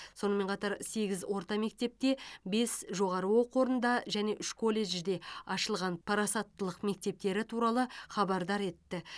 сонымен қатар сегіз орта мектепте бес жоғары оқу орнында және үш колледжде ашылған парасаттылық мектептері туралы хабардар етті